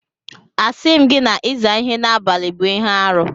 Asịghị m na ịza ihe n'abalị bụ ihe arụ.